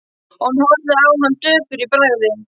Hún horfði á hann döpur í bragði.